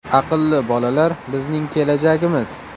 Aqlli bolalar bizning kelajagimiz.